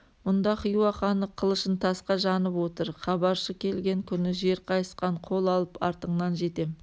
мұнда хиуа ханы қылышын тасқа жанып отыр хабаршы келген күні жер қайысқан қол алып артыңнан жетем